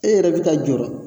E yɛrɛ bɛ ka jɔrɔ